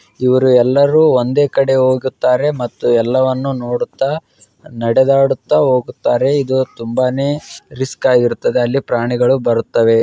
ಇವರೆಲ್ಲರೂ ಒಂದೇ ಕಡೆ ಹೋಗುತ್ತಾರೆ ಮತ್ತು ಎಲ್ಲವನ್ನು ನೋಡುತ್ತಾ ನಡೆದಾಡುತ್ತಾ ಹೋಗುತ್ತಾರೆ ಇದು ತುಂಬಾನೇ ರಿಸ್ಕ್ ಆಗಿರುತ್ತದೆ ಇಲ್ಲಿ ಪ್ರಾಣಿಗಳು ಬರುತ್ತದೆ.